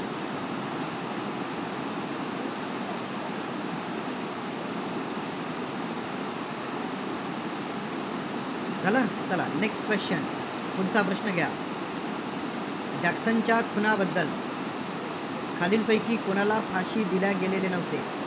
झालं? next question पुढचा प्रश्न घ्या. जॅक्सनच्या खुनाबद्दल खालीलपैकी कुणाला फाशी दिल्या गेलेले नव्हते?